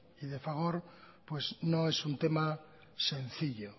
y de fagor pues no es un tema sencillo